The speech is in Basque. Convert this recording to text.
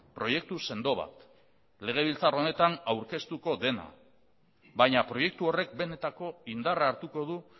proiektu sendo bat legebiltzar honetan aurkeztuko dena baina proiektu horrek benetako indarra hartuko du